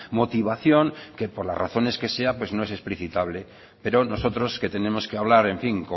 motivación que por las razones que sea pues no es explicitable pero nosotros que tenemos que hablar en fin